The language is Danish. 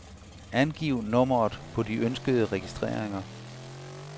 Angiv nummeret på de ønskede registreringer.